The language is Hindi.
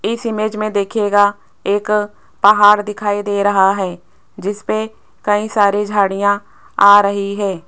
इस इमेज मे देखिएगा एक पहाड़ दिखाई दे रहा है जिसपे कई सारी झाड़ियां आ रही है।